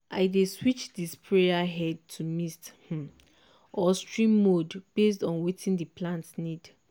i dey switch di sprayer head to mist um or stream mode based on wetin di plant need.